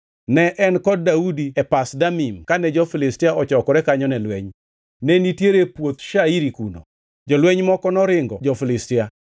Ne en kod Daudi e Pas Damim kane jo-Filistia ochokore kanyo ne lweny. Ne nitiere puoth shairi kuno. Jolweny moko noringo jo-Filistia,